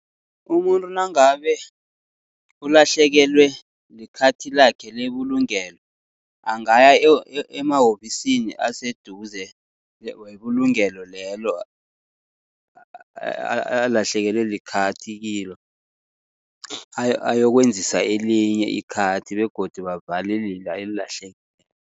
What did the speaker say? Umuntu nangabe ulahlekelwe likhathi lakhe lebulungelo, angaya emahovisini aseduze webulungelo lelo alahlekelwe likhathi kilo. Ayokwenzisa elinye ikhathi begodu bavale lela elilahlekileko